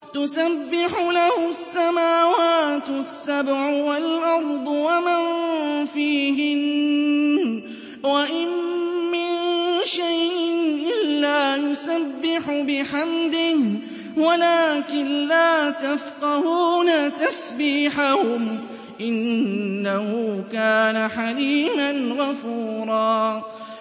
تُسَبِّحُ لَهُ السَّمَاوَاتُ السَّبْعُ وَالْأَرْضُ وَمَن فِيهِنَّ ۚ وَإِن مِّن شَيْءٍ إِلَّا يُسَبِّحُ بِحَمْدِهِ وَلَٰكِن لَّا تَفْقَهُونَ تَسْبِيحَهُمْ ۗ إِنَّهُ كَانَ حَلِيمًا غَفُورًا